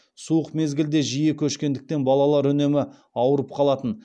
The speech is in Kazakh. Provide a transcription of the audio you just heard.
суық мезгілде жиі көшкендіктен балалар үнемі ауырып қалатын